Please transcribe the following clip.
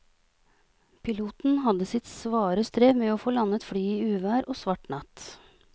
Piloten hadde sitt svare strev med å få landet flyet i uvær og svart natt.